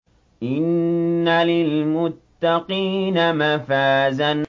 إِنَّ لِلْمُتَّقِينَ مَفَازًا